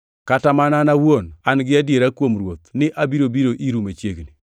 Kata mana an awuon an-gi adiera kuom Ruoth ni abiro biro iru machiegni.